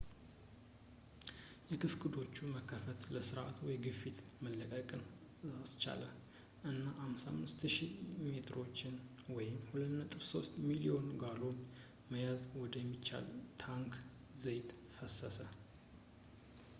የክፍክዶቹ መከፈት ለስርዓቱ የግፊት መለቀቅን አስቻለ እና 55,000 በርሜሎችን 2.3 ሚሊዮን ጋሎን መያዝ ወደሚችል ታንክ ዘይት ፈሰሰ